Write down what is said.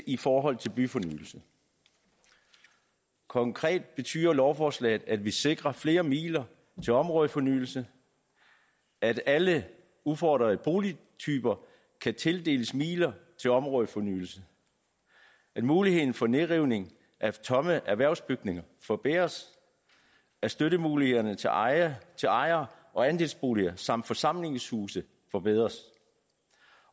i forhold til byfornyelse konkret betyder lovforslaget at vi sikrer flere midler til områdefornyelse at alle udfordrede boligtyper kan tildeles midler til områdefornyelse at muligheden for nedrivning af tomme erhvervsbygninger forbedres at støttemulighederne til ejer til ejer og andelsboliger samt forsamlingshuse forbedres